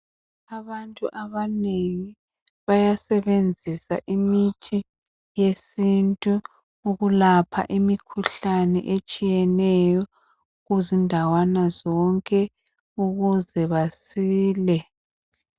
Abantu abanengi bayasebenzisa imithi yesintu ukulapha imikhuhlane etshiyeneyo kuzindawana zonke ukuze basile.